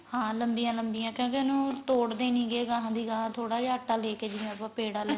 ਹਾਂ ਲੰਬੀਆਂ ਲੰਬੀਆਂ ਕਿਉਂਕਿ ਉਹਨੂੰ ਤੋੜਦੇ ਨੀਂ ਗੇ ਗਾਹ ਦੀ ਗਾਹ ਥੋੜਾ ਜਾ ਆਟਾ ਦੇ ਕੇ ਜਿਵੇਂ ਆਪਾਂ ਪੇੜਾ ਲੈਣੇ